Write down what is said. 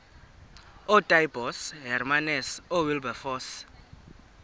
ootaaibos hermanus oowilberforce